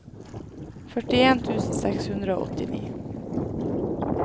førtien tusen seks hundre og åttini